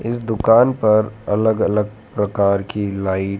इस दुकान पर अलग अलग प्रकार की लाइट --